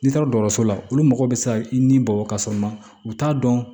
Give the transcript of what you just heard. N'i taara dɔgɔso la olu mago be se ka i ni bɔ ka sɔrɔ ma u t'a dɔn